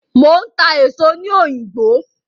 Mò ń ta èso ní òyìngbò.